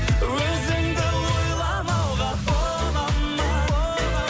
өзіңді ойламауға бола ма